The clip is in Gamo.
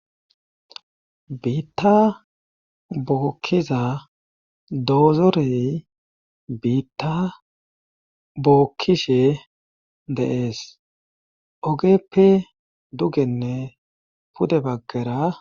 Biitta bookkiza doozorey biitta bookkishe deees ogeppe dugenne pude baggera..